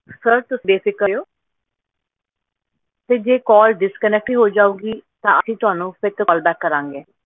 sir ਤੁਸੀਂ ਬੇਫਿਕਰ ਰਹੋ ਤੇ ਜੇ calldisconnect ਵਿ ਹੋ ਜਾਉਗੀ ਤਾਂ ਅਸੀਂ ਤੁਹਾਨੂੰ ਫਿਰ ਤੋਂ call ਕਰਾਂਗੇ